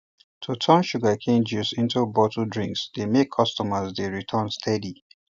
to turn sugarcane juice into bottled drinks dey make customers dey return steady